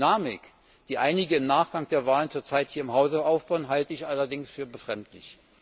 Die Dynamik, die einige im Nachgang der Wahlen zur Zeit hier im Hause aufbauen, halte ich allerdings für befremdlich.